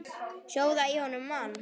Sjóða í honum mann!